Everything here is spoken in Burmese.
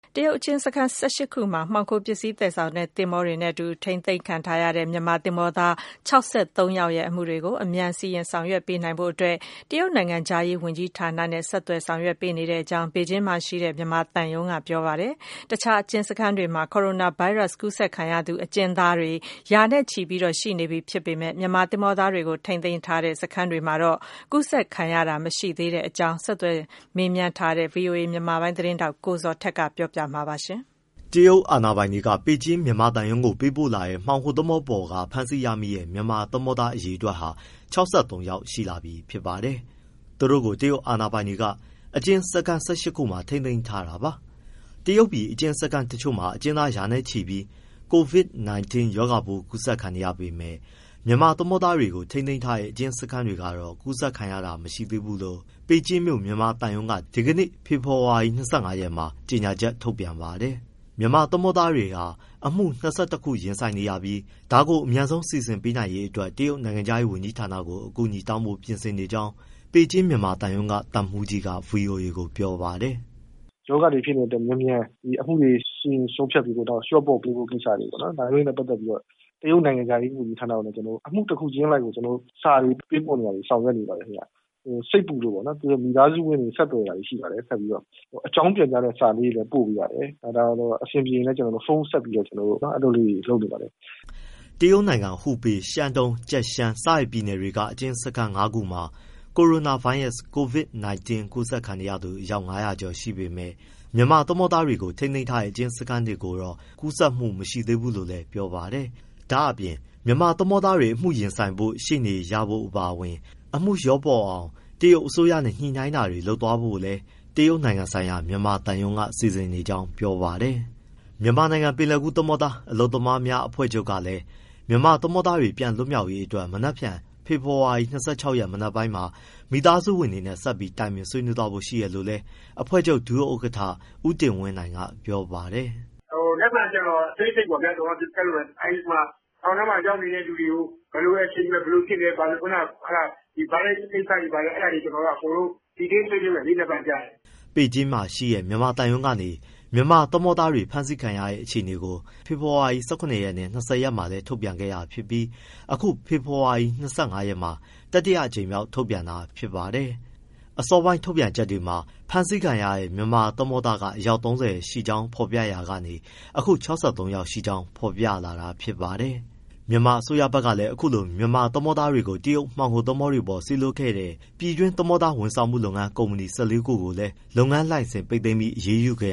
တရုတ်အကျဉ်းစခန်း ၁၈ ခုမှာ အထိန်းသိမ်းခံနေရတဲ့ မြန်မာသင်္ဘောသား ၆၃ ယောက်ရဲ့ အမှုတွေအတွက် အမြန်စီရင် ဆောင်ရွက်ပေးနိုင်အောင် တရုတ်နိုင်ငံခြားရေး ဝန်ကြီးဌာနနဲ့ ဆက်သွယ်ဆောင်ရွက် ပေးနေတယ်လို့ ပေကျင်းမြန်မာသံရုံးက ပြောပါတယ်။ မှောင်ခိုပစ္စည်းသယ်ဆောင်တဲ့ သင်္ဘောတွေနဲ့အတူ တရုတ်ပြည်မှာ ဖမ်းဆီးခံရတဲ့ မြန်မာသင်္ဘောသားတွေနဲ့ ပတ်သက်ပြီး ဆက်သွယ်မေးမြန်းထားတဲ့ ဗွီအိုအေ မြန်မာပိုင်းသတင်းထောက် ကိုဇော်ထက်က ပြောပြပေးမှာပါ။ တရုတ်အာဏာပိုင်တွေက ပေကျင်းမြန်မာသံရုံးကို ပေးပို့လာတဲ့ မှောင်ခိုသင်္ဘောပေါ်က ဖမ်းဆီးရမိတဲ့ မြန်မာသင်္ဘောသား အရေအတွက်ဟာ ၆၃ ယောက်ရှိလာပြီ ဖြစ်ပါတယ်။ သူတို့ကို တရုတ်အာဏာပိုင်တွေက အကျဉ်းစခန်း ၁၈ ခုမှာ ထိန်းသိမ်းထားတာပါ။ တရုတ်ပြည် အကျဉ်းစခန်းတချို့မှာ အကျဉ်းသား ရာနဲ့ ချီပြီး Covid 19 ရောဂါပိုး အကူးစက်ခံနေရပေမဲ့ မြန်မာသင်္ဘောသားတွေကို ထိန်းသိမ်းထားတဲ့ အကျဉ်းစခန်းတွေကတော့ အကူးစက်ခံရတာ မရှိသေးဘူးလို့ ပေကျင်းကမြို့ မြန်မာသံရုံးက ဒီနေ့ ဖေဖော်ဝါရီ ၂၅ ရက်မှာ ကြေညာချက် ထုတ်ပြန်ပါတယ်။ မြန်မာသင်္ဘောသားတွေဟာ အမှု ၂၁ ခုလောက် ရင်ဆိုင်နေရပြီး ဒါကိုအမြန်ဆုံး စီစဉ်ပေးနိုင်ရေး အတွက် တရုတ်နိုင်ငံခြားရေး ဝန်ကြီးဌာနကို အကူညီတောင်းဖို့ ပြင်ဆင်နေကြောင်း ပေကျင်းမြန်မာသံရုံးက သံမှူးကြီးက VOA ကို ပြောပါတယ်။ “ရောဂါတွေ ဖြစ်နေတဲ့အတွက် မြန်မြန် ဒီအမှုတွေ စီရင် ဆုံးဖြတ်ပေးဖို့ လျော့ပေါ့ပေးဖို့ ကိစ္စတွေ ဒါတွေနဲ့ ပတ်သက်လို့ တရုတ်နိုင်ငံခြားရေး ဝန်ကြီးဌာနကို အမှုတခုချင်းအလိုက်ကို စာတွေပေးပို့နေတာတွေ ဆောင်ရွက်နေပါတယ်ခင်ဗျ။ စိတ်ပူလို့မိသားစုဝင်တွေ ဆက်သွယ်တာတွေရှိပါတယ်။ အကြောင်းပြန်ကြားတဲ့ စာကလေးတွေလည်း ပို့ပေးပါတယ်။ အဆင်ပြေရင်လည်း ဖုန်းဆက်ပြီးတော့ အဲလိုလေးတွေ လုပ်နေပါတယ်။” တရုတ်နိုင်ငံ ဟူပေ၊ ရှန်းတုန်း၊ ကျက်ကျန်း ပြည်နယ်က အကျဉ်းစခန်း ၅ ခုမှာ ကိုရိုနာဗိုင်းရပ်စ် Covid 19 ကူးစက်ခံရသူ ၅၀၀ ကျော်ရှိနေပေမဲ့ မြန်မာသင်္ဘောသားတွေကို ထိန်းသိမ်းထားတဲ့ အကျဉ်းစခန်းတွေကိုတော့ ကူးစက်မှု မရှိသေးဘူးလို့လည်း ပြောပါတယ်။ ဒါ့အပြင် မြန်မာသင်္ဘောသားတွေ အမှုရင်ဆိုင်ဖို့ ရှေ့နေရဖို့အပါအဝင် အမှုလျှော့ပေါ့အောင် တရုတ်အစိုးရနဲ့ ညှိနှိုင်းတာတွေ လုပ်သွားဖို့လည်း တရုတ် နိုင်ငံဆိုင်ရာ မြန်မာသံရုံးက စီစဉ်နေကြောင်း ပြောပါတယ်။ မြန်မာနိုင်ငံ ပင်လယ်ကူး သင်္ဘောသား အလုပ်သမားများအဖွဲ့ချုပ် ကလည်း မြန်မာသင်္ဘောသားတွေ ပြန်လွတ်မြောက်ရေး အတွက် မနက်ဖြန် ဖေဖော်ဝါရီ ၂၆ ရက်မနက်ပိုင်းမှာ မိသားစုဝင်တွေနဲ့ ဆက်ပြီး တိုင်ပင်ဆွေးနွေးဖို့ ရှိတယ်လို့လည်း အဖွ့ဲချုပ် ဒုဥက္ကဋ္ဌ ဦးတင်ဝင်းနိုင်က ပြောပါတယ်။ “မနက်ဖြန်ကျရင် အသေးစိတ်ပေါ့ဗျာ ထောင်ထဲမှာရောက်နေတဲ့ သူတွေကို ဘယ်လို action ယူမယ်၊ ဘယ်လိုဖြစ်တယ်။ ဒီဗိုင်းရပ်စ်ကိစ္စတွေဘာတွေ detail ဆွေးနွေးမယ်လေ မနက်ဖြန်ကျရင်။” ပေကျင်းမှာရှိတဲ့ မြန်မာသံရုံးကနေ မြန်မာသင်္ဘာသားတွေ ဖမ်းဆီးခံရတဲ့အခြေအနေကို ဖေဖော်ဝါရီ ၁၇ ရက်နဲ့ ၂၀ ရက်မှာလည်း ထုတ်ပြန်ခဲ့တာ ဖြစ်ပြီး အခု ဖေဖော်ဝါရီ ၂၅ ရက်မှာ တတိယအကြိမ်မြောက် ထုတ်ပြန်တာဖြစ်ပါတယ်။ အစောပိုင်း ထုတ်ပြန်ချက်တွေမှာ ဖမ်းဆီးခံရတဲ့ မြန်မာသင်္ဘောသားက အယောက် ၃၀ ရှိကြောင်း ဖေါ်ပြရာကနေ အခု ၆၃ ယောက် ရှိကြောင်း ဖေါ်ပြလာတာ ဖြစ်ပါတယ်။ မြန်မာအစိုးရဘက်ကလည်း အခုလို မြန်မာသင်္ဘောသားတွေကို တရုတ်မှောင်ခို သင်္ဘောတွေပေါ်ကို စေလွှတ်ခဲ့တဲ့ ပြည်တွင်း သင်္ဘောသား ဝန်ဆောင်မှု ကုမ္ပဏီ ၁၄ ခုကို လုပ်ငန်းလိုင်စင်တွေ ပိတ်သိမ်းပြီး အရေးယူခဲ့